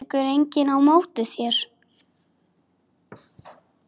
Tekur enginn á móti þér?